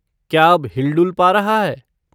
क्या अब हिल डुल पा रहा है?